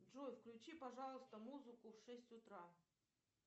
джой включи пожалуйста музыку в шесть утра